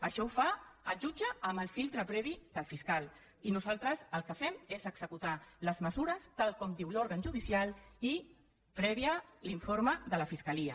això ho fa el jutge amb el filtre previ del fiscal i nosaltres el que fem és executar les mesures tal com diu l’òrgan judicial i amb l’informe previ de la fiscalia